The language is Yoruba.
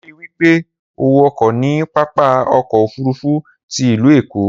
Ri wípé o wọkọ̀ ní pápákọ̀ ọkọ ofurufu ti ìlú Èkó